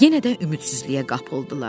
Yenə də ümidsizliyə qapıldılar.